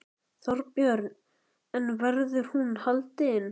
Þorbjörn: En verður hún haldin?